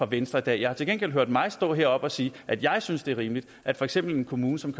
venstre i dag jeg har til gengæld hørt mig selv stå heroppe og sige at jeg synes det er rimeligt at for eksempel en kommune som